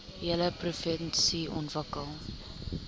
hele provinsie ontwikkel